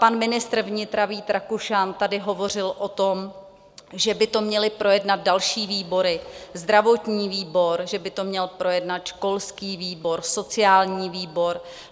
Pan ministr vnitra Vít Rakušan tady hovořil o tom, že by to měly projednat další výbory, zdravotní výbor, že by to měl projednat školský výbor, sociální výbor.